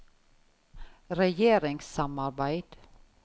regjeringssamarbeid